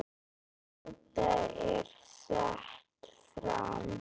Tilgáta er sett fram.